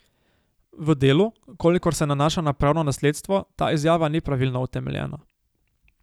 V delu, kolikor se nanaša na pravno nasledstvo, ta izjava ni pravno utemeljena.